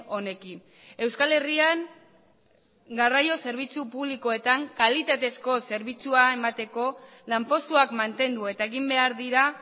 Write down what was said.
honekin euskal herrian garraio zerbitzu publikoetan kalitatezko zerbitzua emateko lanpostuak mantendu eta egin behar dira